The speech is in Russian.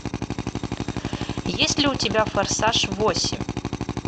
есть ли у тебя форсаж восемь